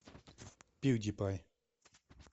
пьюдипай